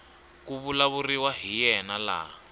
ku vulavuriwaka hi yena laha